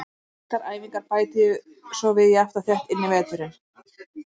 Taktískar æfingar bæti ég svo við jafnt og þétt inn í veturinn.